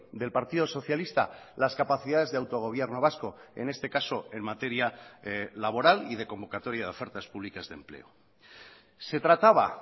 del partido socialista las capacidades de autogobierno vasco en este caso en materia laboral y de convocatoria de ofertas públicas de empleo se trataba